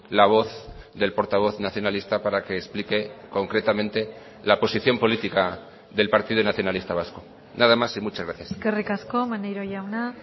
la voz del portavoz nacionalista para que explique concretamente la posición política del partido nacionalista vasco nada más y muchas gracias eskerrik asko maneiro jauna